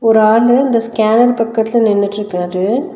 ஒரு ஆளு இந்த ஸ்கேனர் பக்கத்துல நின்னுட்ருக்குறாரு.